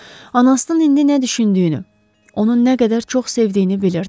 Anasının indi nə düşündüyünü, onun nə qədər çox sevdiyini bilirdi.